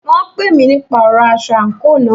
Wọ́n pè mí nípa ọ̀rọ aṣọ àńkò náà.